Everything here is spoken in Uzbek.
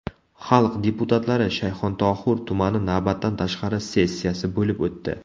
Xalq deputatlari Shayxontohur tumani navbatdan tashqari sessiyasi bo‘lib o‘tdi.